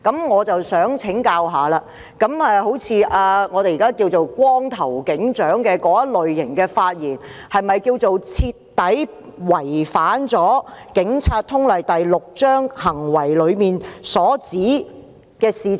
我想請教一下，人稱"光頭警長"的警員最近的那些發言，是否徹底違反《警察通例》第6章中"行為"一節所訂的規定？